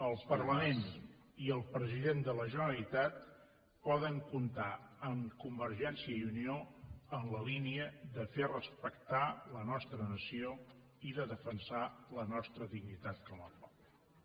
el parlament i el president de la generalitat poden comptar amb convergència i unió en la línia de fer respectar la nostra nació i de defensar la nostra dignitat com a poble